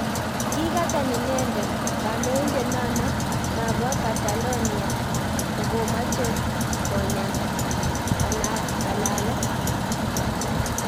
Nikata inedet, kandoitet nano napo catalonia kokomache konya kalalet